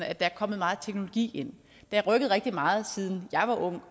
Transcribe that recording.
at der er kommet meget teknologi ind det har rykket rigtig meget siden jeg var ung